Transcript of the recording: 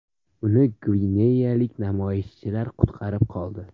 Uni gvineyalik namoyishchilar qutqarib qoldi.